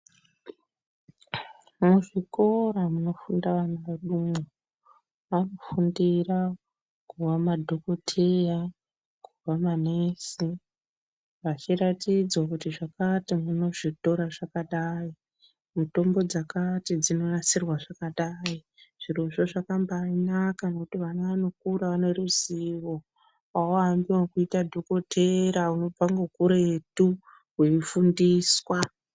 Muzvikora munofunda vana vedumwo vanofundira kuva madhokodheya kuva manesi vachiratidzwa kuti zvakati munozvitora zvakadai, mutombo dzakati dzinonasirwa zvakadai zvirozvo zvakambainaka ngekuti vana vanokura vane ruzivo auambi ekuite dhokodheya unobva ngekuretu weifundiswa.